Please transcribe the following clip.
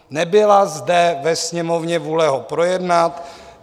Nebyla zde ve Sněmovně vůle ho projednat.